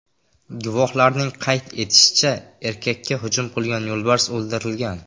Guvohlarning qayd etishicha, erkakka hujum qilgan yo‘lbars o‘ldirilgan.